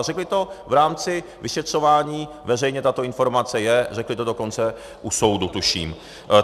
A řekli to v rámci vyšetřování, veřejně tato informace je, řekli to dokonce u soudu, tuším.